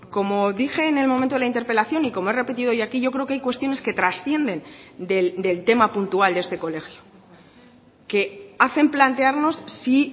como dije en el momento de la interpelación y como he repetido hoy aquí yo creo que hay cuestiones que trascienden del tema puntual de este colegio que hacen plantearnos si